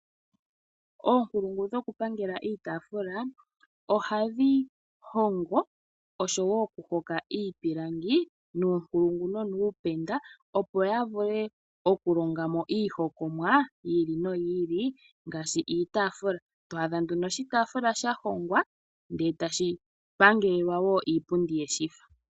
Oonkulungu dhoku pangela iipilangi ohadhi hongo osho wo okuhoka iipilangi nuunkulungu nonuupenda. Opo ya vule okulonga mo iihongomwa yi ili noyi ili. Ngaashi iitaafula to adha nduno oshitaafula sha hongwa ndele etashi pangelelwa iipundi yeshi fa.